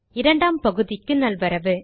இரண்டாம் பகுதிக்கு நல்வரவு